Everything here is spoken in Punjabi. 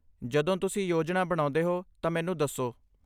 ਜਦੋਂ ਤੁਸੀਂ ਯੋਜਨਾ ਬਣਾਉਂਦੇ ਹੋ ਤਾਂ ਮੈਨੂੰ ਦੱਸੋ।